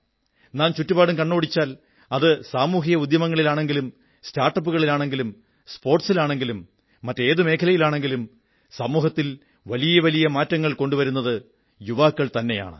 നാം ചുറ്റുപാടും കണ്ണോടിച്ചാൽ അത് സാമൂഹിക ഉദ്യമങ്ങളാണെങ്കിലും സ്റ്റാർട്ടപ്പുകളാണെങ്കിലും സ്പോർട്സ് ആണെങ്കിലും മറ്റേതെങ്കിലും മേഖലയാണെങ്കിലും സമൂഹത്തിൽ വലിയ മാറ്റങ്ങൾ കൊണ്ടുവരുന്നത് യുവാക്കൾതന്നെയാണ്